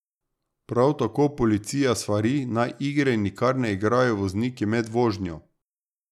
Prav tako policija svari, naj igre nikar ne igrajo vozniki med vožnjo.